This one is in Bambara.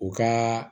U ka